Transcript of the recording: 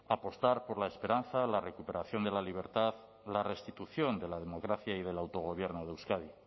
apostar por la esperanza la recuperación de la libertad la restitución de la democracia y del autogobierno de euskadi